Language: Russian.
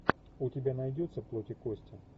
у тебя найдется плоть и кости